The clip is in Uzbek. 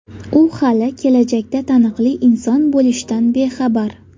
U hali kelajakda taniqli inson bo‘lishdan bexabar.